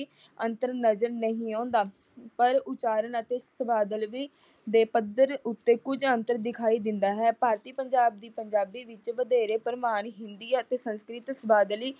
ਪੱਧਰ ਤੇ ਤਾਂ ਕੋਈ ਅੰਤਰ ਨਜਰ ਨਹੀ ਆਉਂਦਾ। ਪਰ ਉਚਾਰਨ ਅਤੇ ਦੇ ਪੱਧਰ ਉੱਤੇ ਕੁਝ ਅੰਤਰ ਦਿਖਾਈ ਦਿੰਦਾ ਹੈ। ਭਾਰਤੀ ਪੰਜਾਬ ਦੀ ਪੰਜਾਬੀ ਵਿੱਚ ਵਧੇਰੇ ਪਰਿਮਾਣ ਹਿੰਦੀ ਅਤੇ ਸੰਸਕ੍ਰਿਤ ਸਬਾਦਲੀ